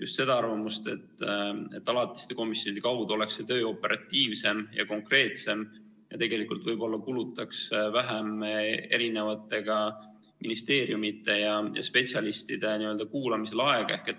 just seda arvamust, et alatiste komisjonide kaudu oleks see töö operatiivsem ja konkreetsem ja võib-olla kulutaks vähem ka ministeeriumide ja spetsialistide kuulamisel aega.